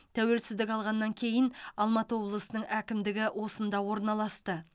тәуелсіздік алғаннан кейін алматы облысының әкімдігі осында орналасты